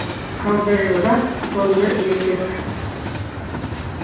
қаудырлақ тонды еркек